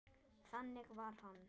Þannig var hann.